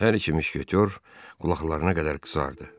Hər iki müşketiyor qulaqlarına qədər qızardı.